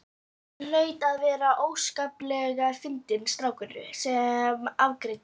Hann hlaut að vera óskaplega fyndinn strákurinn sem afgreiddi.